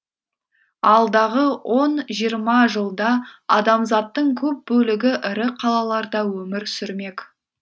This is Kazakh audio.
алдағы он жиырма жылда адамзаттың көп бөлігі ірі қалаларда өмір сүрмек